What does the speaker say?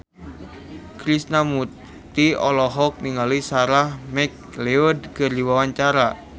Krishna Mukti olohok ningali Sarah McLeod keur diwawancara